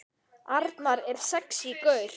Arnar er sexí gaur.